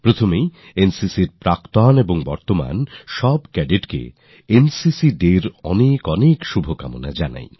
শুরুতেই NCCর প্রাক্তন আর বর্তমান Cadetদের NCCDayর অনেক অনেক শুভকামনা জানাই